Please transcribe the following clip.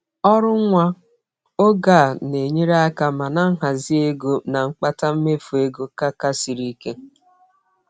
Ọrụ nwa oge a na-enyere aka, mana nhazị oge na mkpata mmefu ego ka ka siri ike.